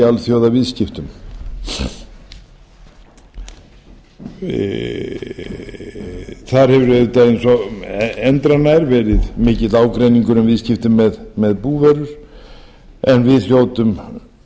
í alþjóðaviðskiptum þar hefur auðvitað eins og endranær verið mikill ágreiningur um viðskipti með búvörur en við hljótum um